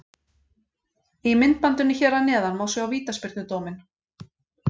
Í myndbandinu hér að neðan má sjá vítaspyrnudóminn.